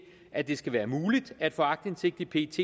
at det skal være muligt at få aktindsigt i pets